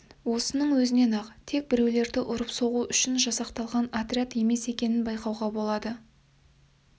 осының өзінен-ақ тек біреулерді ұрып-соғу үшін жасақталған отряд емес екенін байқауға болады